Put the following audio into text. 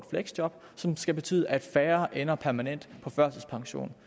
som skal betyde at færre ender permanent på førtidspension